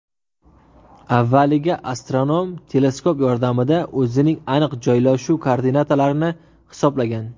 Avvaliga astronom teleskop yordamida o‘zining aniq joylashuv koordinatalarini hisoblagan.